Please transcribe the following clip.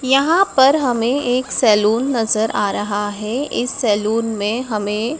यहां पर हमें एक सैलून नजर आ रहा है। इस सैलून में हमें--